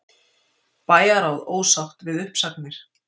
Bæjarráð ósátt við uppsagnir